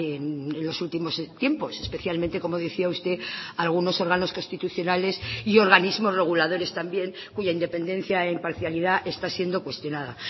en los últimos tiempos especialmente como decía usted algunos órganos constitucionales y organismos reguladores también cuya independencia e imparcialidad está siendo cuestionada